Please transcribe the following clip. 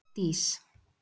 Dís